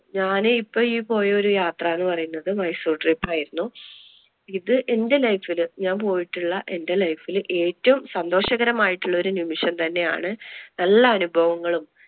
ഞാൻ ഇപ്പൊ ഈ പോയ ഒരു യാത്ര എന്ന് പറയുന്നത് മൈസൂർ trip ആയിരുന്നു. ഇത് എന്‍റെ life ല് ഞാൻ പോയിട്ടുള്ള എന്‍റെ life ല് ഏറ്റവും സന്തോഷകരമായിട്ടുള്ള ഒരു നിമിഷം തന്നെ ആണ്. നല്ല അനുഭവങ്ങളും,